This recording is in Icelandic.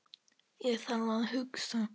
Ég þarf að hugsa.